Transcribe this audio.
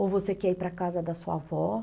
Ou você quer ir para casa da sua avó?